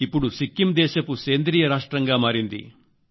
ఇప్పడు సిక్కిం సేంద్రియ రాష్ట్రంగా మారింది